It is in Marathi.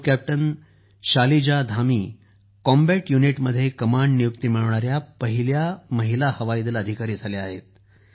group captain Shalija Dhami combat युनिटमध्ये कमांड नियुक्ती मिळविणारी पहिली महिला हवाई दल अधिकारी झाल्या आहेत